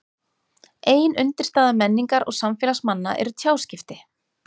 Ein undirstaða menningar og samfélags manna eru tjáskipti.